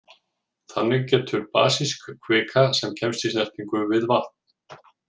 Þannig getur basísk kvika sem kemst í snertingu við vatn.